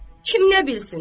Kim nə bilsin?